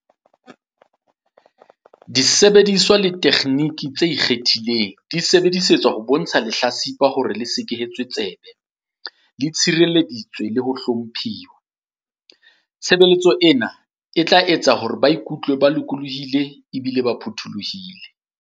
Disebediswa le ditekgenini tse ikgethileng di sebedisetswa ho bontsha lehla-tsipa hore le sekehetswe tsebe, le tshirelleditswe le ho hlomphuwa. Tshebeletso ena e tla etsa hore ba ikutlwe ba lokollohile ebile ba phuthollohile.